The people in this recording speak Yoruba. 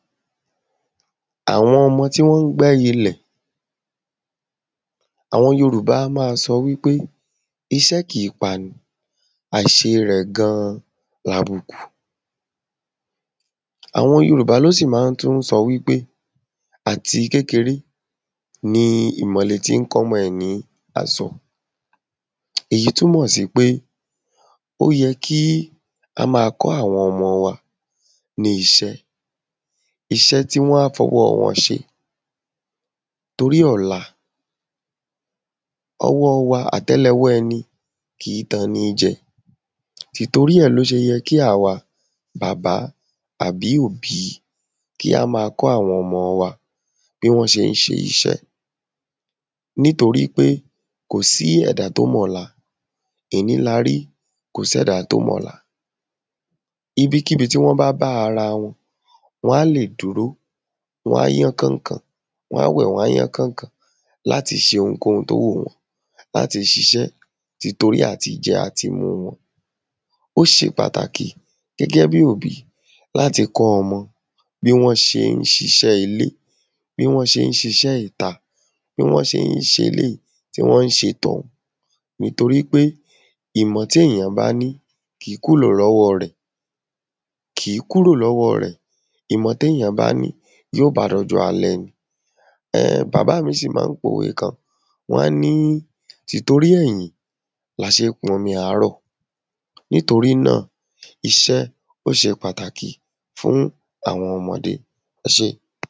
àwọn ọmọ ti wọn gbá ilẹ̀ àwọn yorùbá á má sọ wípé iṣẹ́ kìí pani àìṣe rẹ̀ gan-an labùkù àwọn yorùbá ló sì má ń tún sọ wípé àti kékeré ni ìmọ̀le tí ń kọ́mọ ẹ̀ ní àso èyí túnmọ̀ sí pé ó yẹ kí ka ma kọ àwọn ọmọ wa ní iṣẹ́ iṣẹ́ tí wọ́n á fi ọwọ́ wọn ṣe torí ọ̀la ọwọ́ wa àtẹ́lẹwọ́ ẹni kìí tan ní jẹ tì torí ẹ̀ ló ṣe yẹ kí àwa bàbá àbí òbí ki a ma kọ àwọn ọmọ wa bí wọ́n sé ń ṣe iṣẹ́ nítorí pé kòsí ẹ̀dá tó mọ̀ la èní la rí kòsẹ́da tó mọ̀ la ibikíbi tí wọ́n bá ara wọn wọ́n á lè d́uró wọ́n á yán kànkàn wọ́n á wẹ̀ wọ́n á yán kànkàn láti ṣe ohunkòhun tó wùn wọ́n láti ṣiṣẹ́ tì torí àtijẹ àtimu wọn ó ṣe pàtàkì gẹ́ǵẹ bí òbí láti kọ́ ọmọ bí wọ́n ṣe ń ṣe iṣẹ́ ilé bí wọ́n ṣe ń ṣe iṣẹ́ ìta bí wọ́n ṣe ń ṣe eléyì tí wọ́n ṣe tọ̀hún ì tórí kpé ìmọ̀ tí èyàn bá ní kìí kúrò lọ́wọ́ rẹ̀ ìmọ̀ tí èyàn bá ní yóò ba dọjọ́ alẹ́ ni bàbá mi sì ma n pòwe kan wọ́n á ní tì torí ẹ̀yìn la ṣé ń pọn mi àárọ̀ nítorí náà iṣẹ́ óṣe pàtàkì fún àwọn ọmọdé ẹ ṣé